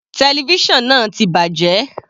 Television náà ti bàjẹ́.